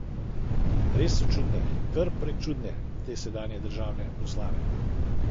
Res so čudne, kar prečudne, te sedanje državne proslave.